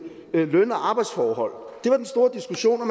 løn og arbejdsforhold det var den store diskussion og